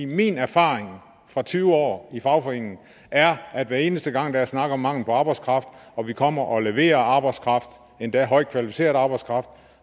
min erfaring fra tyve år i fagforeningen er at hver eneste gang der er snak om mangel på arbejdskraft og vi kommer og leverer arbejdskraft endda højt kvalificeret arbejdskraft